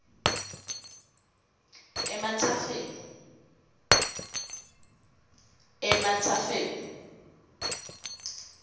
ematsafeni